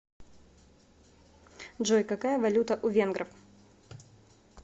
джой какая валюта у венгров